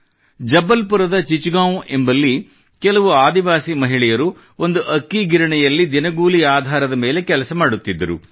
ಜಬಲ್ಪುರದ ಚಿಚಗಾಂವ್ ಎಂಬಲ್ಲಿ ಕೆಲವು ಆದಿವಾಸಿ ಮಹಿಳೆಯರು ಒಂದು ಅಕ್ಕಿ ಗಿರಣಿಯಲ್ಲಿ ದಿನಗೂಲಿ ಆಧಾರದ ಮೇಲೆ ಕೆಲಸ ಮಾಡುತ್ತಿದ್ದರು